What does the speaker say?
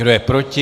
Kdo je proti?